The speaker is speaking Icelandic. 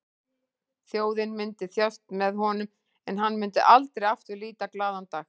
Þjóðin myndi þjást með honum en hann myndi aldrei aftur líta glaðan dag.